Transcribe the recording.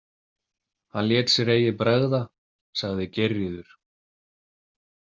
Hann lét sér eigi bregða, sagði Geirríður.